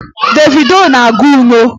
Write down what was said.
Davido na-agụ inyo